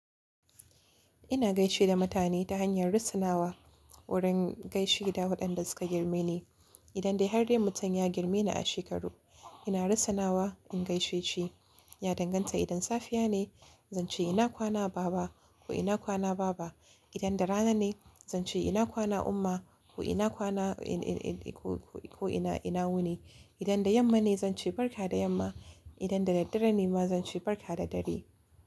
Ina gaishe da mutane ta hanyar rassanawa wurin gaisheda waɗanda suka girme ni. Idan dai har dai mutum ya girme ni a shekaru, ina russunawa in gaishe shi. Ya danganta idan safiya ne, zan ce ina kwana baba ko ina kwana baaba. Idan da rana ne, zan ce ina kwana umma ko ina kwana ko ina, ina wuni. Idan da yamma ne zan ce barka da yamma. Idan dadaddare ne ma zan ce barka da dare.